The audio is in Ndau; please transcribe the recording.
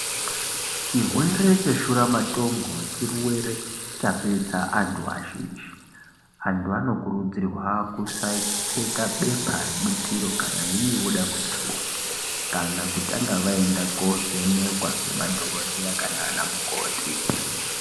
Chirwere cheshuramatongo chirwere chapedza antu azhinji. Antu anokurudzirwa kusaekupfeka bepa rebutiro kana veinge voda kuita bonde, kana kutanga vaenda kovhenekwa, nemadhokodheya kana anamukoti.